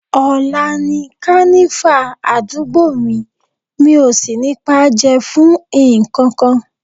Ọ̀la ni Kànífà àdúgbò mi, mi ò sì ní paájẹ́ fún nǹkankan